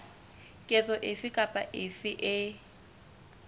ketso efe kapa efe e